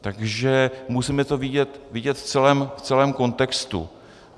Takže musíme to vidět v celém kontextu.